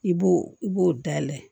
I b'o i b'o dayɛlɛ